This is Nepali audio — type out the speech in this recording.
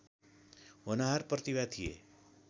होनहार प्रतिभा थिए